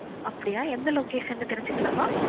அப்படியா எந்த location ன்னு தெரிஞ்சிக்கலம்மா?